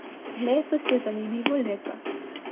Letos je zanimivo leto.